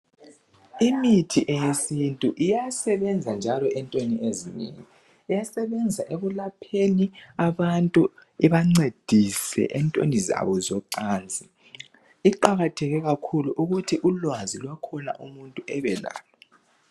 Imithi yesintu iyasebenza njalo entweni ezinengi iyasenza ekulapheni abantu ibancedise entweni zabo zoncansi iqakatheke kakhulu ukuthi ulwazi lwakhona umuntu abelalo